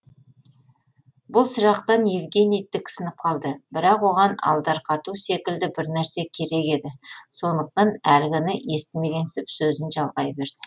бұл сұрақтан евгений тіксініп қалды бірақ оған алдарқату секілді бір нәрсе керек еді сондықтан әлгіні естімегенсіп сөзін жалғай берді